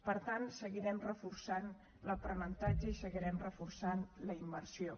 per tant seguirem reforçant l’aprenentatge i seguirem reforçant la immersió